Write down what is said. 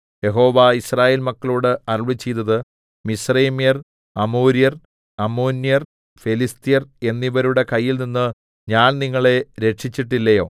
യഹോവ യിസ്രായേൽ മക്കളോട് അരുളിച്ചെയ്തത് മിസ്രയീമ്യർ അമോര്യർ അമ്മോന്യർ ഫെലിസ്ത്യർ എന്നിവരുടെ കയ്യിൽനിന്ന് ഞാൻ നിങ്ങളെ രക്ഷിച്ചിട്ടില്ലയോ